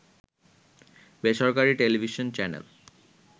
বেসরকারী television channel